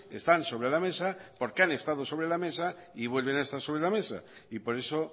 están sobre la mesa porque han estado sobre la mesa y vuelven a estar sobre la mesa y por eso